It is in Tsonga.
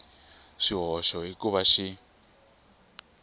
swihoxo hi ku va xi